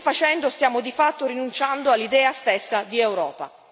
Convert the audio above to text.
Così facendo, stiamo di fatto rinunciando all'idea stessa di Europa.